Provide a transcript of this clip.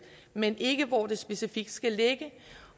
men ikke hvor det specifikt skal ligge